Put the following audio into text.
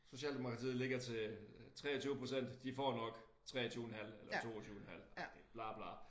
Socialdemokratiet ligger til 23% de får nok 23 en halv eller 22 en halv agtig bla bla